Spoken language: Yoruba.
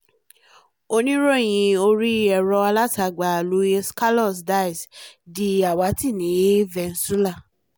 oníròyìn orí ẹ̀rọ-alátagbà luis carlos diaz di àwátì ní venezuela